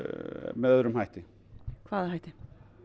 með öðrum hætti hvaða hætti